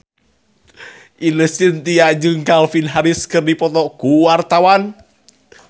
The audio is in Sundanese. Ine Shintya jeung Calvin Harris keur dipoto ku wartawan